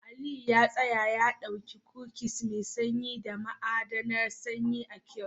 Aliyu ya tsaya ya dauki kukis mai sanyi da ma'adinan sanyi a kiosk